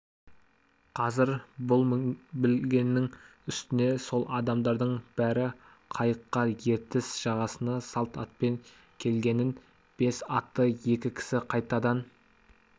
қазір бұл білгенінің үстіне сол адамдардың бәрі қайыққа ертіс жағасына салт атпен келгенін бес атты екі кісі қайтадан